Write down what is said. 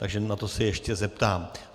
Takže na to se ještě zeptám.